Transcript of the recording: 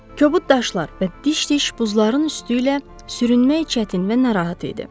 Kəbud daşlar və diş-diş buzların üstü ilə sürünmək çətin və narahat idi.